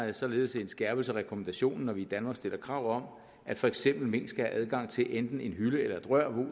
er således en skærpelse af rekommandationen når vi i danmark stiller krav om at for eksempel mink skal have adgang til enten en hylde eller et rør